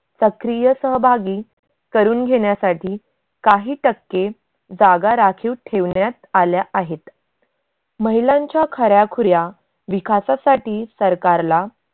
सक्रिय सहभागी करून घेण्यासाठी काही टक्के जागा राखीव ठेवण्यात आल्या आहेत. महिलांच्या खऱ्याखुऱ्या विकासासाठी सरकारला